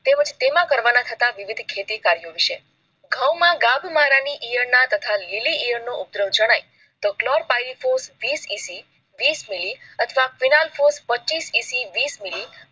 તેમજ તેમાં કરવાના હતા વિવિધ ખેતી કર્યો વિષે ઘઉં માં ધાબા મારવાની ઈયળ ના તથા લીલી ઈયર નો ફોલ્ર ફાઇટોશ વીસ મિલી અથવા ફિનાઈલ પરીતહોશ પચીસ મિલી